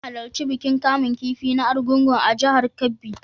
Zan halarci bikin kamun kifi na Argungun a jihar Kebbi.